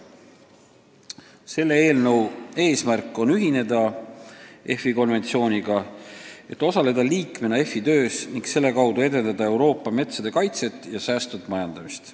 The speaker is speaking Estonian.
Selle eelnõu eesmärk on ühineda EFI konventsiooniga, et osaleda EFI töös ning selle kaudu edendada Euroopa metsade kaitset ja säästvat majandamist.